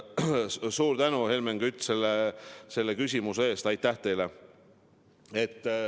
Suur tänu, Helmen Kütt, selle küsimuse eest!